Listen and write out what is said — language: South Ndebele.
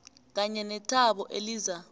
kanye nethabo eliza